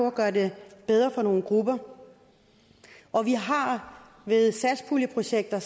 at gøre det bedre for nogle grupper og vi har ved satspuljeprojekter